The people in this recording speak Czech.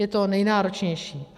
Je to nejnáročnější.